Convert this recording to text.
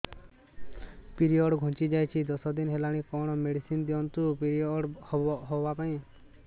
period ଘୁଞ୍ଚି ଯାଇଛି ଦଶ ଦିନ ହେଲାଣି କଅଣ ମେଡିସିନ ଦିଅନ୍ତୁ ପିରିଅଡ଼ ହଵା ପାଈଁ